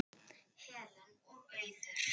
Helen og Auður.